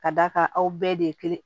Ka d'a kan aw bɛɛ de ye kelen